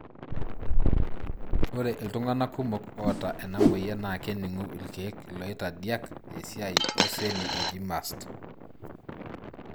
Ore iltungana kumok oata ena moyian na keningu ilkeek iloitadiak esiai oseli oji mast.